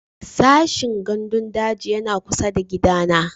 Sashen gandun daji yana kusa da gidana